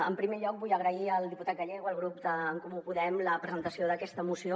en primer lloc vull agrair al diputat gallego al grup d’en comú podem la presentació d’aquesta moció